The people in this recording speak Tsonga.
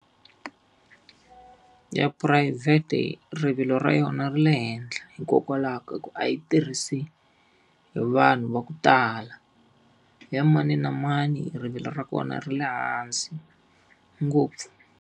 Ya phurayivhete rivilo ra yona ri le henhla, hikokwalaho ka ku a yi tirhisi hi vanhu va ku tala. Ya mani na mani rivilo ra kona ri le hansi ngopfu.